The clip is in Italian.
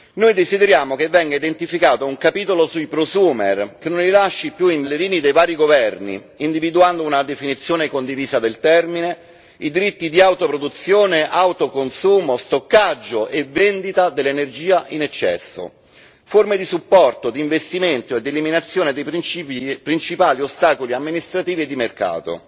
Noi desideriamo che venga identificato un capitolo sui prosumer che non li lasci più in balia degli umori ballerini dei vari governi, individuando una definizione condivisa del termine, i diritti di autoproduzione, autoconsumo, stoccaggio e vendita dell'energia in eccesso, forme di supporto, di investimento e di eliminazione dei principali ostacoli amministrativi e di mercato.